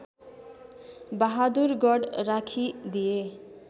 Bahadurgarh राखिदिए